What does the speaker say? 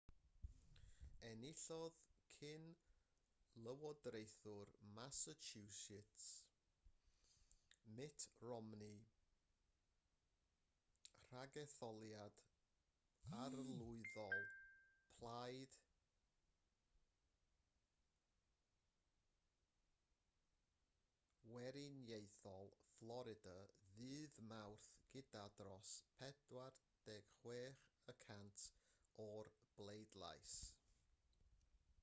enillodd cyn-lywodraethwr massachusetts mitt romney ragetholiad arlywyddol plaid weriniaethol florida ddydd mawrth gyda dros 46 y cant o'r bleidlais